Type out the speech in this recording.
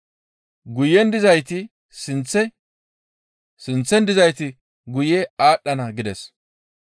«Guyen dizayti sinththe, sinththen dizayti guye aadhdhana» gides.